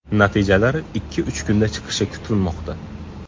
Natijalar ikki-uch kunda chiqishi kutilmoqda.